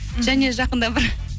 және жақында бір